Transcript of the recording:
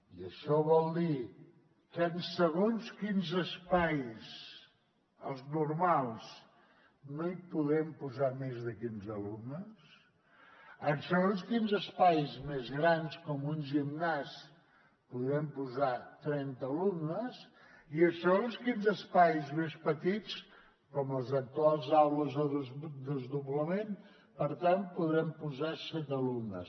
i això vol dir que en segons quins espais els normals no hi podem posar més de quinze alumnes en segons quins espais més grans com un gimnàs hi podrem posar trenta alumnes i en segons quins espais més petits com les actuals aules de desdoblament per tant hi podrem posar set alumnes